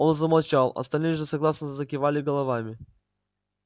он замолчал остальные же согласно закивали головами